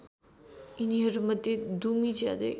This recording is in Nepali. यिनीहरूमध्ये दुमी ज्यादै